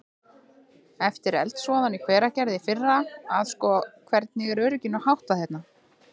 Eftir eldsvoðann í Hveragerði í fyrra að sko, hvernig er örygginu háttað hérna?